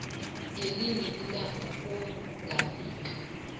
ngelinye ilanga ongafika